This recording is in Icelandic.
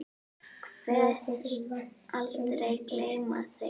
Kveðst aldrei gleyma þeim.